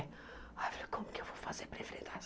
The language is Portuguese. Aí eu falei, como que eu vou fazer para enfrentar isso?